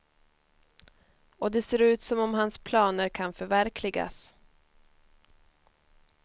Och det ser ut som om hans planer kan förverkligas.